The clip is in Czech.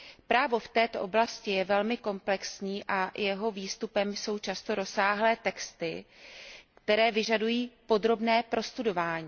Právo v této oblasti je velmi komplexní a jeho výstupem jsou často rozsáhlé texty, které vyžadují podrobné prostudování.